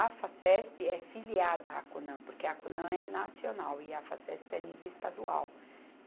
A Facesp é filiada à Conan, porque a Conan é nacional e a Facesp é nível estadual.